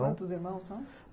Quantos irmãos são?